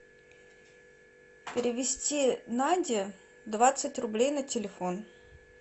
перевести наде двадцать рублей на телефон